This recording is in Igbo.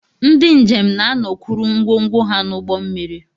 Ndị njem na-anọkwuru ngwongwo ha n'ụgbọ mmiri